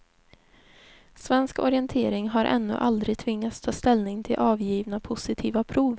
Svensk orientering har ännu aldrig tvingats ta ställning till avgivna positiva prov.